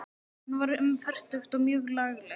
Hún var um fertugt og mjög lagleg.